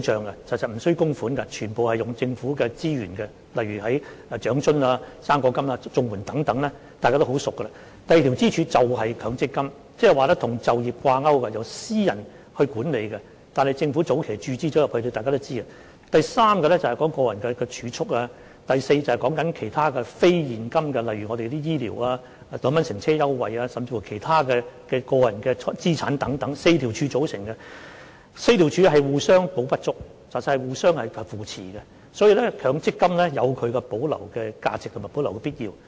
其實這是無需供款的，全部使用政府資源，例如長者生活津貼、"生果金"、綜合社會保障援助等，這些大家已經很熟悉；第二根支柱便是強積金，即是說與就業掛鈎，由私人管理的，但大家也知道政府在早期曾經注資；第三根支柱便是個人儲蓄；第四根支柱便是其他非現金項目，例如醫療、乘車優惠，甚至其他個人資產等 ，4 根支柱互補不足，其實是互相扶持的，所以，強積金有其保留的價值和必要。